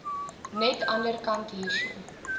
net anderkant hierso